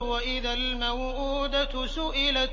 وَإِذَا الْمَوْءُودَةُ سُئِلَتْ